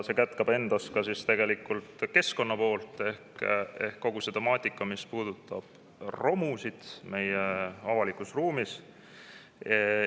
See kätkeb endas keskkonna poolt ehk kogu seda temaatikat, mis puudutab romusid meie avalikus ruumis.